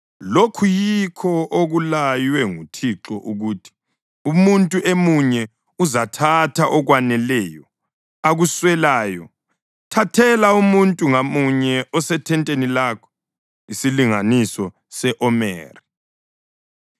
Lokhu yikho okulaywe nguThixo ukuthi: ‘Umuntu emunye uzathatha okwaneleyo akuswelayo. Thathela umuntu ngamunye osethenteni lakho isilinganiso se-omeri.’ ”